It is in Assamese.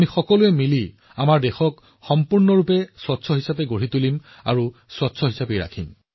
একেলগে আমি আমাৰ দেশক সম্পূৰ্ণৰূপে পৰিষ্কাৰ কৰিম আৰু পৰিষ্কাৰ ৰাখিম